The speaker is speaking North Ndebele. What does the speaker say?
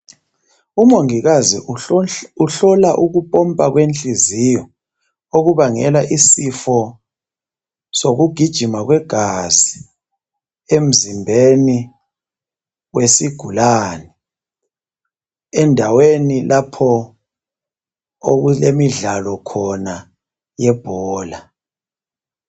Umongikazi uhlola ukupompa kwenhliziyo okubangela isifo sokugijima kwegazi emzimbni wesigulane endaweni lapho okulemidlalo khona yebhola.